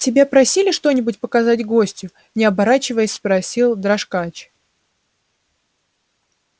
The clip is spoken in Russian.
тебя просили что-нибудь показать гостю не оборачиваясь спросил дрожкач